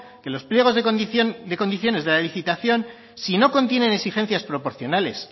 que los pliegos de condiciones de la licitación si no contienen exigencias proporcionales